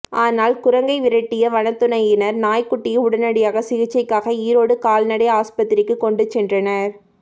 ஆனால் குரங்கை விரட்டிய வனத்துறையினர் நாய்க்குட்டியை உடனடியாக சிகிச்சைக்காக ஈரோடு கால்நடை ஆஸ்பத்திரிக்கு கொண்டு சென்றனர்